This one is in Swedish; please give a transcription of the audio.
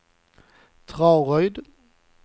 Traryd